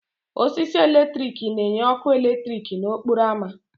Osisi eletrik na-enye ọkụ eletrik n'okporo ámá.